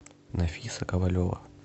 нафиса ковалева